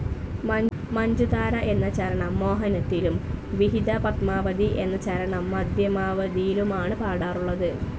മഞ്ജുതാര എന്ന ചരണം മോഹനത്തിലും വിഹിതപദ്മാവതി എന്ന ചരണം മധ്യമാവതിയിലുമാണ് പാടാറുള്ളത്.